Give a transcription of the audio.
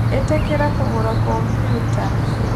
ĩtĩkira kũgũra kompiuta